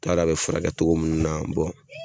U t'a dɔn a bɛ furakɛ cogo minnu na